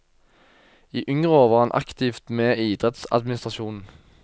I yngre år var han aktivt med i idrettsadministrasjonen.